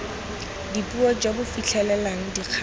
dipuo jo bo fitlhelelang dikgato